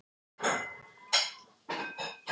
Seinasta kvöldið lauk ég við að mála gluggann.